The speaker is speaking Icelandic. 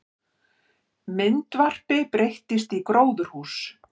Myndvarpi breyttist í gróðurhús